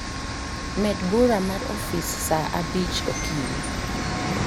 med bura mar ofis saa abich okinyi